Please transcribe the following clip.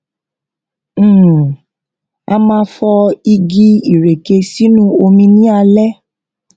um a máa fọ igi ìreke sinu omi ní alẹ